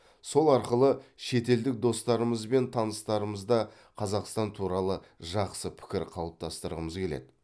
сол арқылы шетелдік достарымыз бен таныстарымызда қазақстан туралы жақсы пікір қалыптастырғымыз келеді